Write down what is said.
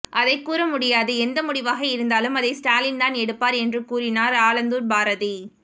அதைக் கூறமுடியாது எந்த முடிவாக இருந்தாலும் அதை ஸ்டாலின்தான் எடுப்பார் என்று கூறினார் ஆலந்தூர் பாரதி